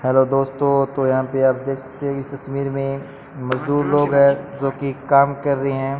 Hello दोस्तों तो यहां पे आप देख सकते है की तस्वीर में मजदूर लोग है जो कि काम कर रहे है।